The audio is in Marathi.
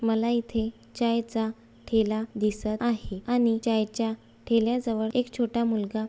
मला इथे चाय चा ठेला दिसत आहे. आणि चाय च्या ठेल्या जवळ एक छोटा मुलगा--